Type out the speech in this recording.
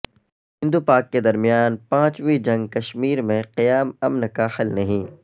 ہند وپاک کے درمیان پانچویں جنگ کشمیر میں قیام امن کا حل نہیں